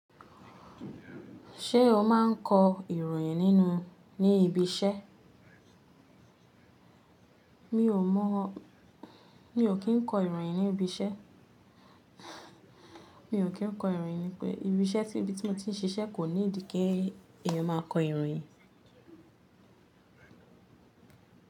Ṣé o máa ń kọ ìròyìn nínú ní ibi iṣẹ́? Mi ò mọ̀, mi ò kí ń kọ ìròyìn ní ibi iṣẹ́. Mi ò kí ń kọ ìròyìn nípe ibi iṣẹ́ tí ibi tí mo ti ń ṣiṣẹ́ kò need kí èèyàn máa kọ ìròyìn.